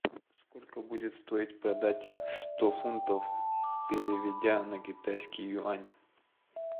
сколько будет стоить продать сто фунтов переведя на китайский юань